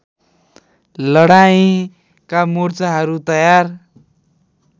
लडाईँँका मोर्चाहरू तयार